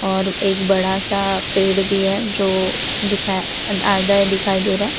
और एक बड़ा सा पेड़ भी है जो दिखाई आधा दिखाई दे रहा है।